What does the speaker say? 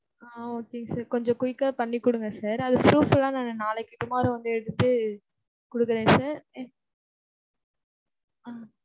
ஆஹ் okay sir. கொஞ்சம் quick ஆ பண்ணி குடுங்க sir. அதுக்கு proof லாம் நாங்க நாளைக்கு tomorrow வந்து எடுத்து குடுக்குறேன் sir. ஆஹ்